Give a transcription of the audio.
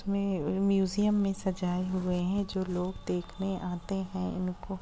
में म्यूजियम मे सजाए हुए है जो लोग देखने आते है इनको--